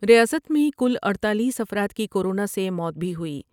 ریاست میں کل اڈتالیس افراد کی کورونا سے موت بھی ہوئی ۔